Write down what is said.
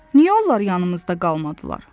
Niyə onlar yanımızda qalmadılar?